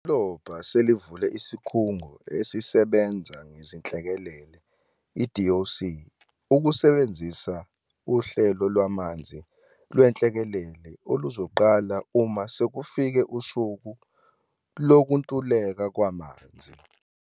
Idolobha selivule Isikhungo Esisebenza Ngezinhlekelele, i-DOC, ukusebenzisa Uhlelo Lwamanzi Lwenhlekelele, oluzoqala uma sekufike usuku lokuntuleka kwamanzi.